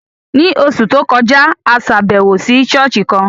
Ní oṣù tó kọjá, a ṣàbẹ̀wò sí ṣọ́ọ̀ṣì kan